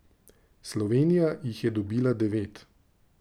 Slovenija jih je dobila devet.